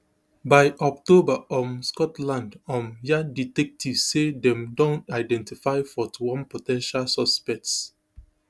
byoctober um scotland um yard detectives say dem don identify forty-one po ten tial suspects